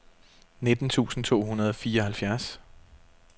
nitten tusind to hundrede og fireoghalvfjerds